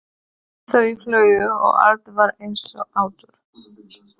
Þau hlógu og allt var eins og áður.